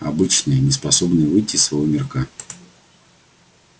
обычные неспособные выйти из своего мирка